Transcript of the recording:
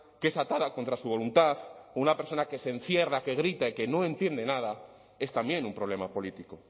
que es atada contra su voluntad o una persona que se encierra que grita y que no entiende nada es también un problema político